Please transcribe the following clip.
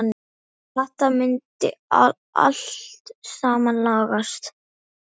Þetta myndi allt saman lagast.